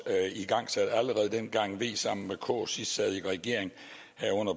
igangsat allerede dengang v sammen med k sidst sad i regering